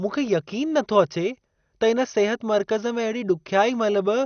मूंखे यक़ीन नथो अचे त इन सिहत मर्कज़ में अहिड़ी ॾुख्याईअ महिल बि